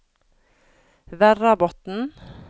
Verrabotn